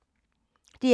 DR K